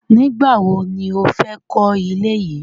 Nígbàwo ni ó fẹ́ kọ ilé yìí?